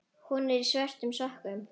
Hún er í svörtum sokkum.